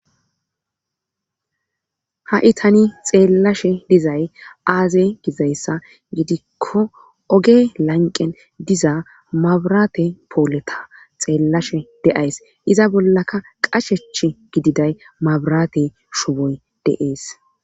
Ha7i tani xeellashe dizay aaze gizayssa gidikko oge lanqqen diza mabiraate pooliya xeellashe de7ays iza bollaka qashechi gididay mabiraate shuboy de7ees.